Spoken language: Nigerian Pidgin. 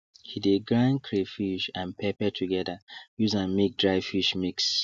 he de grind crayfish and pepper together use am make dry fish mix